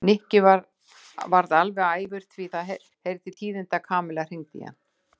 Nikki varð alveg æfur því það heyrði til tíðinda að Kamilla hringdi í hann.